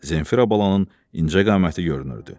Zenfira balanın incəqaməti görünürdü.